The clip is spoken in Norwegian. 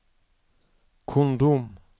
kondom